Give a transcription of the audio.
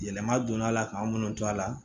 Yɛlɛma donna la k'an minnu to a la